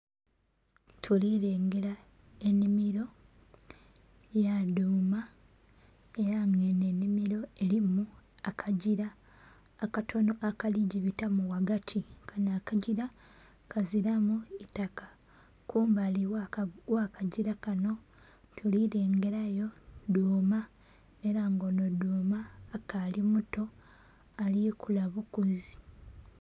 Tuli lengera enhimiro ya dhuuma era nga enho enhimiro erimu akagila akatonho akali gibitamu ghagati, kanho akagila kazilalu itaka. Kumbali gha akagila kanho, tuli lengerayo dhuuma era nga onho dhuuma akali muto ali kula bukule.